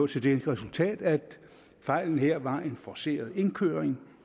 til det resultat at fejlen her var en forceret indkøring